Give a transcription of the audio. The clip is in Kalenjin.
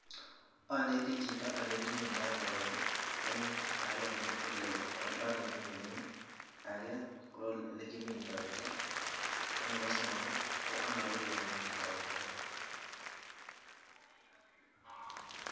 Oneti chito ole kimindo koroi en agenge ko oldo ole kiminen, age ko ole kimindoitoa ako nebo somok ko ano olekemindoito.